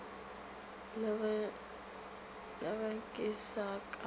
ra ge ke se ka